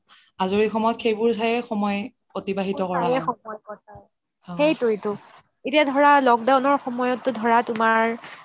আজৰি সময়ত সেইবোৰ চাইয়ে অতিবাহিত কৰা হয় এতিয়া ধৰা lockdown ৰ সময়তে তোমাৰ